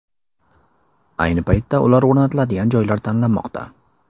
Ayni paytda ular o‘rnatiladigan joylar tanlanmoqda.